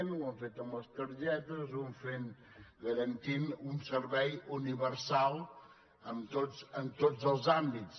ho hem fet amb les targetes ho hem fet garantint un servei universal en tots els àmbits